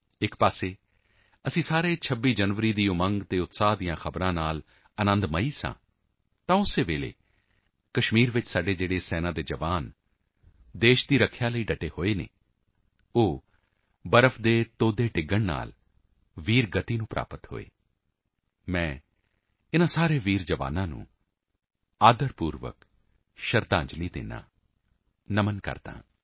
ਇੱਕ ਤਰਫ਼ ਅਸੀਂ ਸਾਰੇ 26 ਜਨਵਰੀ ਦੇ ਉਮੰਗ ਅਤੇ ਉਤਸ਼ਾਹ ਦੀਆਂ ਖ਼ਬਰਾਂ ਤੋਂ ਅਨੰਦਿਤ ਸੀ ਤਾਂ ਉਸੀ ਸਮੇਂ ਕਸ਼ਮੀਰ ਵਿੱਚ ਸਾਡੇ ਜੋ ਸੈਨਾ ਦੇ ਜਵਾਨ ਦੇਸ਼ ਦੀ ਰੱਖਿਆ ਵਿੱਚ ਡਟੇ ਹੋਏ ਹਨ ਉਹ ਬਰਫ਼ ਡਿੱਗਣ ਅਵਾਲਾਂਚੇ ਕਾਰਨ ਵੀਰ ਗਤੀ ਨੂੰ ਪ੍ਰਾਪਤ ਹੋਏ ਮੈਂ ਇਨ੍ਹਾਂ ਸਾਰੇ ਵੀਰ ਜਵਾਨਾਂ ਨੂੰ ਆਦਰ ਪੂਰਵਕ ਸ਼ਰਧਾਂਜਲੀ ਦਿੰਦਾ ਹਾਂ ਨਮਨ ਕਰਦਾ ਹਾਂ